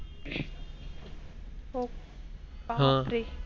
हो बापरे!